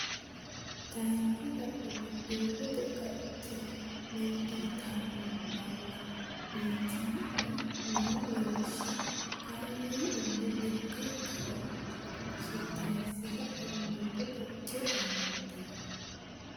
Tayisse sa anni doogote qacce meddi yitanno balla wittii lanni noo Lawishsha kaameeli iille lekka gane tugise Tayisse sa anni doogote qacce meddi.